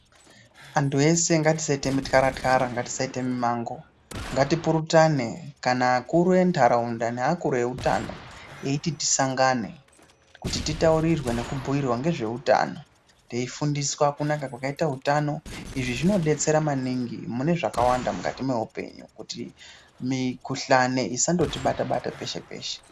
Antu ese ngatisaite mithyarathyara, ngatisaite mimango ,ngatipurutane kana akuru enharaunda eiti tisangane kuti titaurirwe nekubhuyirwa nezveutano teifundiswa kunaka kwakaita utano izvi zvinodetsera maningi mune zvakawanda mukati mweupenyu kuti mikhuhlani isandotibata peshepeshe.